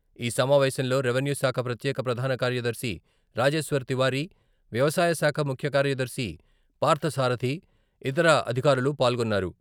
ఈ సమావేశంలో రెవెన్యూ శాఖ ప్రత్యేక ప్రధాన కార్యదర్శి రాజేశ్వర్ తివారి, వ్యవసాయశాఖ ముఖ్యకార్యదర్శి పార్ధసారధి, ఇతర అధికారులు పాల్గొన్నారు.